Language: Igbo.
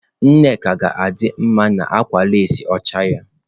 Nneka ga-adị mma na akwa leesị ọcha ya.